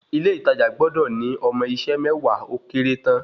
Ilé ìtajà gbọ́dọ̀ ní ọmọ iṣẹ́ mẹ́wàá ó kéré tán